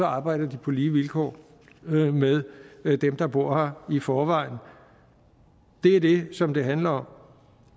arbejder de på lige vilkår med dem der bor her i forvejen det er det som det handler om